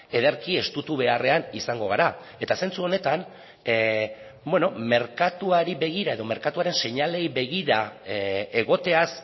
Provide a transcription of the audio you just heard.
ederki estutu beharrean izango gara eta zentzu honetan merkatuari begira edo merkatuaren seinaleei begira egoteaz